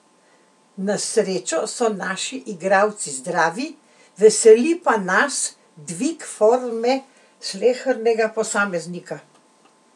Na srečo so naši igralci zdravi, veseli pa nas dvig forme slehernega posameznika.